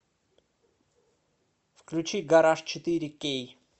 включи гараж четыре кей